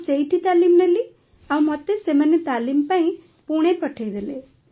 ମୁଁ ସେଇଠି ତାଲିମ୍ ନେଲି ଆଉ ମତେ ସେମାନେ ତାଲିମ ପାଇଁ ପୁଣେ ପଠାଇଦେଲେ